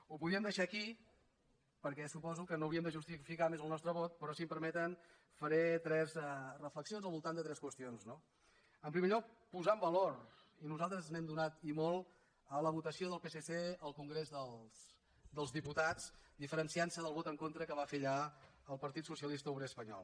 ho podríem deixar aquí perquè suposo que no hauríem de justificar més el nostre vot però si em permeten faré tres reflexions al voltant de tres qüestions no en primer lloc posar en valor i nosaltres n’hem donat i molt la votació del psc al congrés dels diputats diferenciant se del vot en contra que va fer allà el partit socialista obrer espanyol